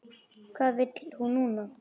Hvað vill hún núna?